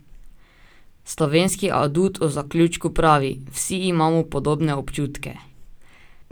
Slovenski adut o zaključku pravi: "Vsi imamo podobne občutke.